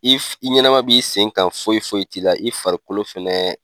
I i ɲɛnɛma b'i sen kan foyi foyi t'i la i farikolo fɛnɛ